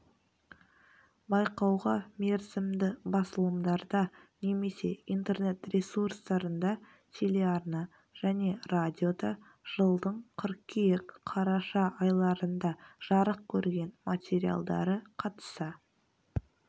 байқауға мерзімді басылымдарда немесе интернет ресурстарында телеарна және радиода жылдың қыркүйек-қараша айларында жарық көрген материалдары қатыса